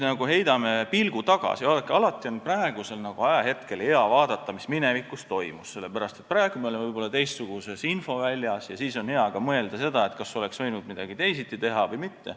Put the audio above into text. Vaadake, alati on hea vaadata, mis minevikus toimus, sest praegu me oleme võib-olla teistsuguses infoväljas ja on hea mõelda ka seda, kas oleks võinud midagi teisiti teha või mitte.